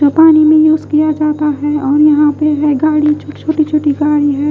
जो पानी में यूज किया जाता है और यहाँ पे है गाड़ी छोटी छोटी गाड़ी है।